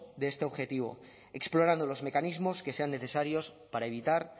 de este objetivo explorando los mecanismos que sean necesarios para evitar